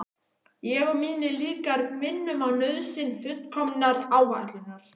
Ég og mínir líkar minnum á nauðsyn fullkominnar áætlunar.